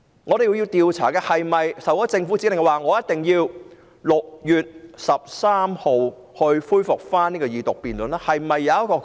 我們要調查警方有否收到政府指令，要讓法案在6月13日恢復二讀辯論？